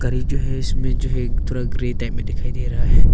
गरी जो है इसमें जो है थोरा ग्रे टाइप में दिखाई दे रहा है।